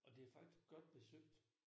Og det faktisk godt besøgt